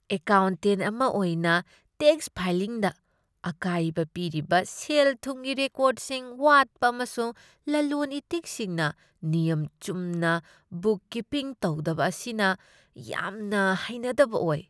Accountant ꯑꯃ ꯑꯣꯏꯅ, tax ꯐꯥꯏꯂꯤꯡꯗ ꯑꯀꯥꯏꯕ ꯄꯤꯔꯤꯕ ꯁꯦꯜ ꯊꯨꯝꯒꯤ ꯔꯦꯀꯣꯔꯗꯁꯤꯡ ꯋꯥꯠꯄ ꯑꯃꯁꯨꯡ ꯂꯂꯣꯟ ꯏꯇꯤꯛꯁꯤꯡꯅ ꯅꯤꯌꯝ ꯆꯨꯝꯅ ꯕꯨꯛ ꯀꯤꯄꯤꯡ ꯇꯧꯗꯕ ꯑꯁꯤꯅ ꯌꯥꯝꯅ ꯍꯩꯅꯗꯕ ꯑꯣꯏ꯫